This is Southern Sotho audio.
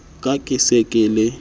ka ke se ke le